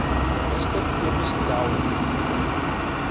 minister cobus dowry